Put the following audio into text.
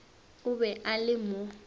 o be a le mo